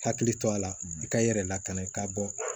Hakili to a la i ka i yɛrɛ lakana i ka bɔ